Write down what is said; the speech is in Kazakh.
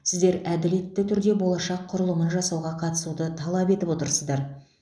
сіздер әділетті түрде болашақ құрылымын жасауға қатысуды талап етіп отырсыздар